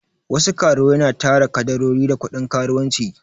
Wasu karuwai na tara kadarori da kuɗin karuwanci